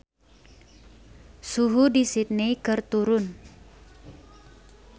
Suhu di Sydney keur turun